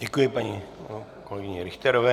Děkuji paní kolegyni Richterové.